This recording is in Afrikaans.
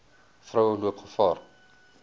vroue loop gevaar